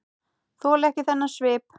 Þoli ekki þennan svip.